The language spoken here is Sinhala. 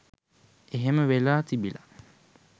එහෙම වෙලා තිබිලා